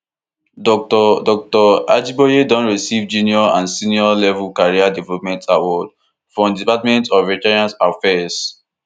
dr dr ajiboye don receive junior and senior level career development award from di department of veterans affairs